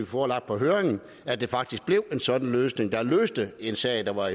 forelagt på høringen at det faktisk blev en sådan løsning der løste en sag der var